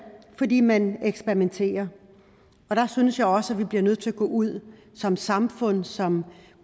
fordi man eksperimenterer der synes jeg også vi bliver nødt til at gå ud som samfund som